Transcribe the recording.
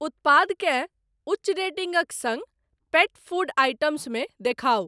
उत्पादकेँ उच्च रेटिंगक सङ्ग पेट फ़ूड आइटम्स मे देखाउ ।